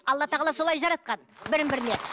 алла тағала солай жаратқан бір біріне